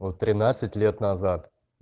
вот тринадцать лет назад